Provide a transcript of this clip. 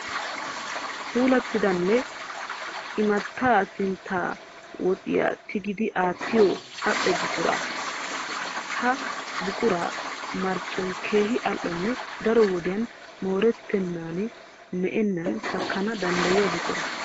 Puulattidanne imattaa sintti woxiya tigidi aattiyo al''o buqura. Ha buquraa marccoy keehi al''onne daro wodiyaa moorettennaninne me'ennan takkana danddayiya buqura.